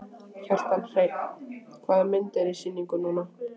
Kjartan Hreinn: Hvaða mynd er í sýningu núna?